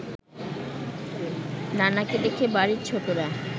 নানাকে দেখে বাড়ির ছোটরা